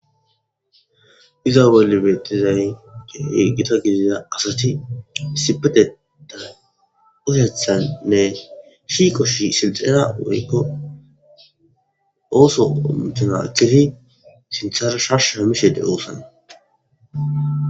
iza bolla betizay gita gidida asati issipetethanni utethannne shiqo shiqqiza woykko ooso initana ekkidd sinthara shashsha shammishe de'oosana.